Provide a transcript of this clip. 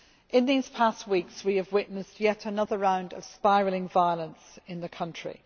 In these past weeks we have witnessed yet another round of spiralling violence in the country.